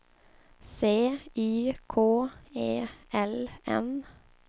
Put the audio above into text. C Y K E L N